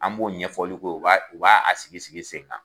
An b'o ɲɛfɔli k'o ye o b'a o b'a sigi sigi sen kan